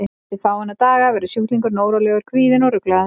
Eftir fáeina daga verður sjúklingurinn órólegur, kvíðinn og ruglaður.